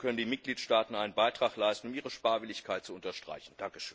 Dazu können die Mitgliedstaaten einen Beitrag leisten, um ihre Sparwilligkeit zu unterstreichen.